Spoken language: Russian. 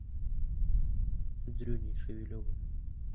дрюней шевелевым